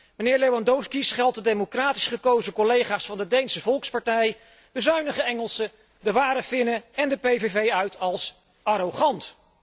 Meneer Lewandowski scheldt de democratisch gekozen collega's van de Deense Volkspartij, de zuinige Engelsen, de Ware Finnen en de PVV uit als arrogant.